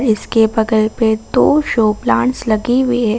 इस के बगल पे दो शो प्लांट्स लगी हुई है।